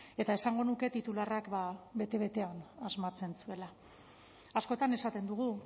eta esango nuke titularrak bete betean asmatzen zuela askotan esaten dugu